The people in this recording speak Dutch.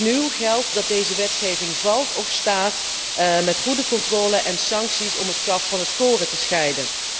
Opnieuw geldt dat deze wetgeving valt of staat bij goede controle en sancties om het kaf van het koren te scheiden.